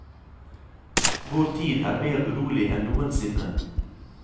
Vår tid er mer urolig enn noensinne.